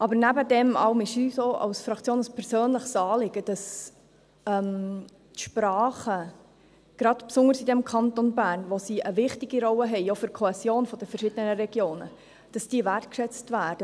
Aber nebst all dem ist es uns auch als Fraktion ein persönliches Anliegen, dass die Sprachen, besonders im Kanton Bern, in dem sie eine wichtige Rolle spielen, auch für die Kohäsion der verschiedenen Regionen, Wertschätzung erfahren.